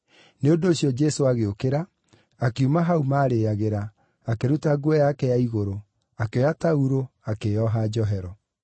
nĩ ũndũ ũcio Jesũ agĩũkĩra, akiuma hau maarĩĩagĩra, akĩruta nguo yake ya igũrũ, akĩoya taurũ, akĩĩoha njohero.